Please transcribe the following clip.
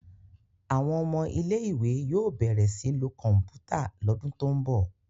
Àwọn ọmọ ilé ìwé yóò bẹrẹ sìn ló Kọ̀ǹpútà l'ọdun to'n bọ.